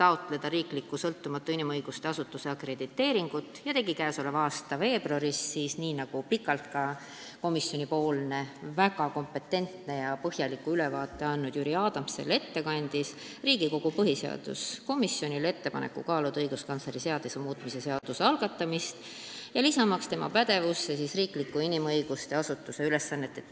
taotleda riikliku sõltumatu inimõiguste asutuse akrediteeringut ja tegi käesoleva aasta veebruaris, nii nagu ka väga kompetentse ja põhjaliku ülevaate andnud komisjoni ettekandja Jüri Adams ette kandis, Riigikogu põhiseaduskomisjonile ettepaneku kaaluda õiguskantsleri seaduse muutmise seaduse eelnõu algatamist, lisamaks tema pädevusse riikliku inimõiguste asutuse ülesanded.